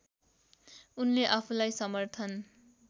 उनले आफूलाई समर्थन